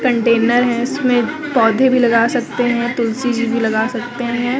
Container है इसमें पौधे भी लगा सकते हैं तुलसी जी भी लगा सकते हैं।